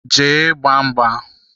Jee gbaa mgba!